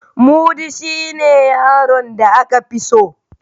Mudi shine yaron da aka fi so.